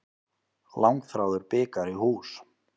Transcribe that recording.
Langþráður bikar í hús